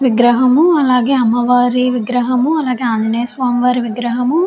విగ్రహము అలాగే అమ్మవారి విగ్రహము అలాగే ఆంజనేయ స్వామి వారి విగ్రహము.